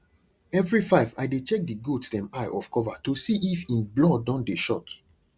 every five i dey check the goats dem eye of cover to see if en blood don dey short